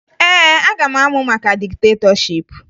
Ee, aga m amụ maka diktetọship